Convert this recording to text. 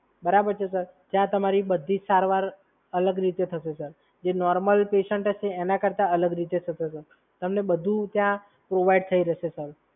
જ્યાં તમારી સારવાર અલગ રીતે થશે, સર. જે નોર્મલ પેશન્ટ હશે એના કરતાં અલગ રીતે થશે, સર. તમને બધુ ત્યાં પ્રોવાઈડ થઈ રહેશે, સર.